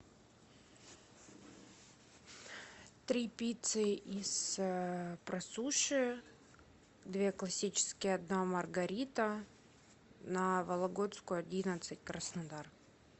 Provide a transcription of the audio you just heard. три пиццы из просуши две классические одна маргарита на вологодскую одиннадцать краснодар